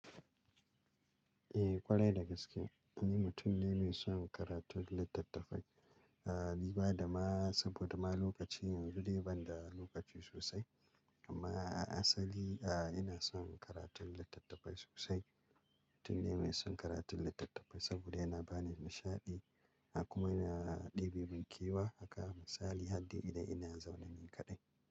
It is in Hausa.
Eh ƙwarai da gaske. Ni mutum ne mai son karatun littattafai, ah dubada ma saboda ma lokaci yanzu dai ban da lokaci sosai. Amma a asali ah ina son karatun littattafai sosai. Mutum ne mai son karatun littattafai saboda yana bani nishaɗi, kuma yana ɗebe mun kewa. Haka a misali hardai idan ina zaune ni kaɗai.